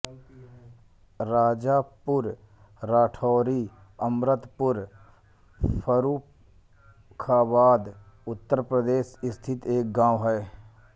राजापुर राठौरी अमृतपुर फर्रुखाबाद उत्तर प्रदेश स्थित एक गाँव है